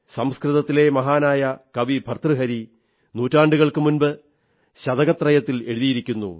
സംസ്കൃതത്തിലെ മഹാനായ കവി ഭർതൃഹരി നുറ്റാണ്ടുകൾക്കു മുമ്പ് ശതകത്രയത്തിൽ എഴുതിയിരിക്കുന്നു